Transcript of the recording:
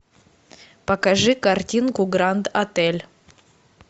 покажи картинку гранд отель